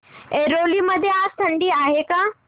ऐरोली मध्ये आज थंडी आहे का